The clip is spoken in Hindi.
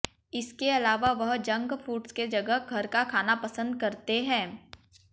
इसके अलावा वह जंक फूड्स के जगह घर का खाना पसंद करते हैं